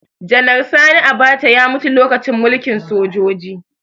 Janar Sani Abacha ya mutu lokacin mulkin sojoji